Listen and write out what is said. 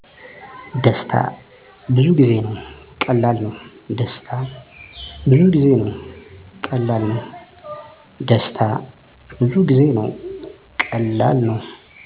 ደስታ። ብዙጊዜ ነው። ቀላል ነው